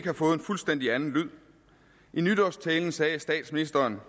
har fået en fuldstændig anden lyd i nytårstalen sagde statsministeren